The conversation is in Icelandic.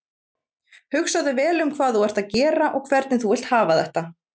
Hugsaðu vel um hvað þú ert að gera og hvernig þú vilt hafa þetta.